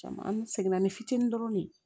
Caman an seginna ni fitinin dɔrɔn de ye